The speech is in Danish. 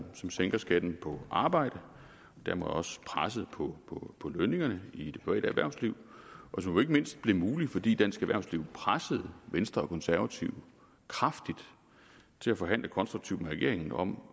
som sænker skatten på arbejde og dermed også presset på på lønningerne i det private erhvervsliv og som jo ikke mindst blev mulig fordi dansk erhvervsliv pressede venstre og konservative kraftigt til at forhandle konstruktivt med regeringen om